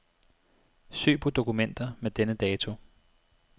Søg på dokumenter med denne dato.